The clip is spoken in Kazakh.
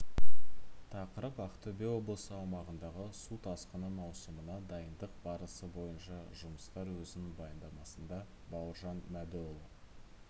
тақырып ақтөбе облысы аумағындағы су тасқыны маусымына дайындық барысы бойынша жұмыстар өзінің баяндамасында бауыржан мәдіұлы